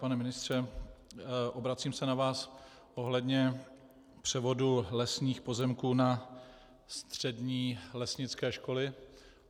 Pane ministře, obracím se na vás ohledně převodu lesních pozemků na střední lesnické školy.